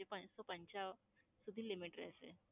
જે પાંચસો પંચાવ સુધી limit રહેશે.